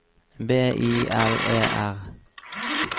B I L E R